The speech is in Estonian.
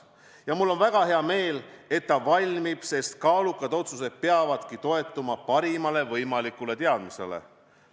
Ja mul on väga hea meel, et see valmib, sest kaalukad otsused peavadki toetuma parimale võimalikule teadmisele.